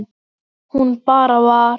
Hún bara var.